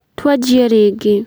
Twanjie rĩngĩ.